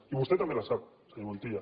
i vostè també la sap senyor montilla